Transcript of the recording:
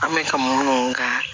An bɛ ka minnu ka